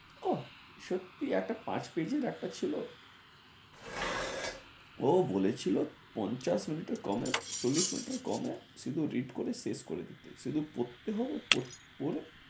ওহ সত্যি একটা কাজ পেয়েছিস একটা ছিলো ও বলে ছিলো পঞ্চাশ মিনিটের কমে, চল্লিশ মিনিটের কমে, শুধু read করে শেষ করে দিতে, শুধু পড়তে হবে পড়ে